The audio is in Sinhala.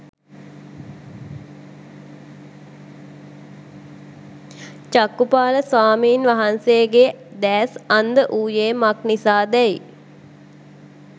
චක්ඛුපාල ස්වාමීන් වහන්සේගේ දෑස් අන්ධ වූයේ මක් නිසාදැයි